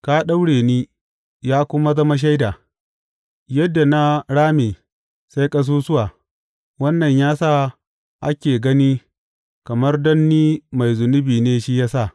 Ka daure ni, ya kuma zama shaida; yadda na rame sai ƙasusuwa, wannan ya sa ake gani kamar don ni mai zunubi ne shi ya sa.